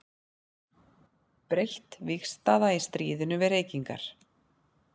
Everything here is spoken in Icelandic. Breytt vígstaða í stríðinu við reykingar.